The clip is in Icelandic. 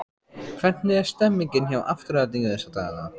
Hvernig er stemmningin hjá Aftureldingu þessa dagana?